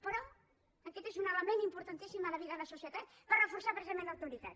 però aquest és un element importantíssim a la vida a la societat per reforçar precisament l’autoritat